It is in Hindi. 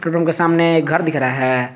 पेट्रोल पंप के सामने एक घर दिख रहा है।